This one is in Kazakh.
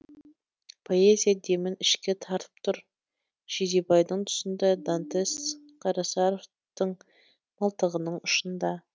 поэзия демін ішке тартып тұр жидебайдың тұсында дантес қарасаровтың мылтығының ұшында